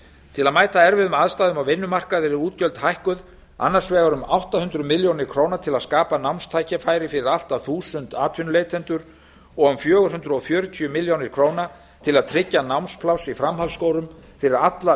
til að mæta erfiðum aðstæðum á vinnumarkaði eru útgjöld hækkuð annars vegar um átta hundruð milljóna króna til að skapa námstækifæri fyrir allt að eitt þúsund atvinnuleitendur og um fjögur hundruð fjörutíu milljónir króna til að tryggja námspláss í framhaldsskólum fyrir alla